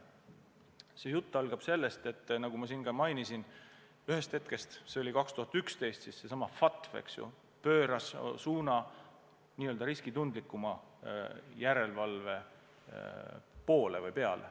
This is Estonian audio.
See jutt algab sellest, et nagu ma mainisin, aastast 2011 seesama FATF võttis suuna n-ö riskitundlikumale järelevalvele.